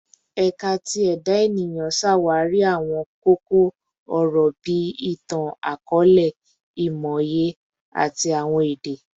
Ẹka ti Eda Eniyan ṣawari awọn koko-ọrọ bii Itan-akọọlẹ, Imọye, ati Awọn Ede